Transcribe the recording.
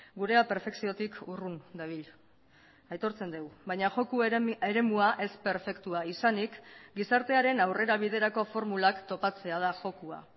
gurea perfekziotik urrun dabil aitortzen dugu baina joko eremua ez perfektua izanik gizartearen aurrerabiderako formulak topatzea da jokoa